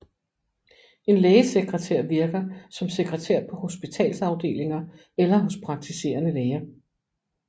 En lægesekretær virker som sekretær på hospitalsafdelinger eller hos praktiserende læger